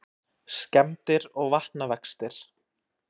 Skemmdir og vatnavextir